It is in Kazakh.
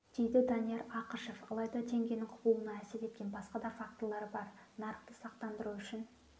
дейді данияр ақышев алайда теңгенің құбылуына әсер еткен басқа да факторлар бар нарықты сақтандыру үшін